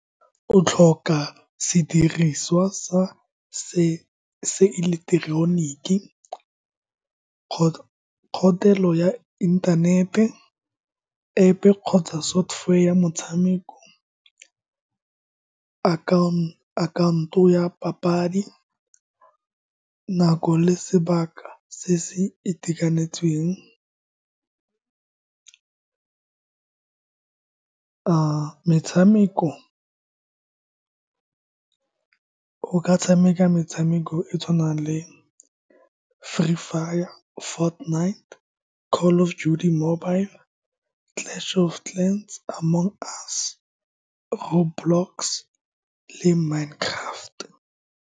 O tlhoka sediriswa sa se ileketeroniki, kgothelo ya inthanete, App kgotsa software ya motshameko account-o ya papadi, nako le sebaka se se itekanetseng. Metshameko, o ka tshameka metshameko e e tshwanang le Free Fire, Fort Knight Land, Call of Duty Mobile, Clash of Clans, Among Us, Road Blocks le Mine Craft.